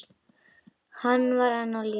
Hann var enn á lífi.